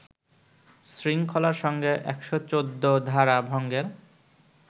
শৃঙ্খলার সঙ্গে ১১৪ ধারা ভঙ্গের